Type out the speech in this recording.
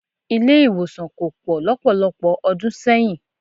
Ilé-ìwòsàn kò pọ̀ lọ́pọ̀lọpọ̀ ọdún sẹ́yìn.